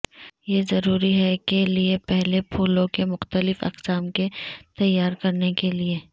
یہ ضروری ہے کے لئے پہلے پھولوں کے مختلف اقسام کے تیار کرنے کے لئے